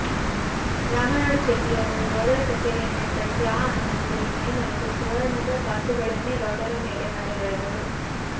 ರಾಮನಾಡು ಚೆಟ್ಟಿಯಾರರು ಗೌಡರ ಕಛೇರಿಯನ್ನು ಏರ್ಪಡಿಸಿ ಆ ಆನಂದದಲ್ಲಿ ಮೈ ಮರೆತು ಸುವರ್ಣದ ಕಾಸುಗಳನ್ನೇ ಗೌಡರ ಮೇಲೆ ಮಳೆಗೆರೆದರು